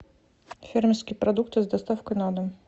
фермерские продукты с доставкой на дом